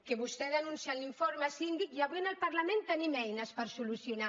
que vostè denuncia en l’informe síndic i avui en el parlament tenim eines per solucionar